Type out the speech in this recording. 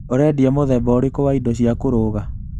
ũrendia mũthemba ũrĩkũ wa indo cia kũruga?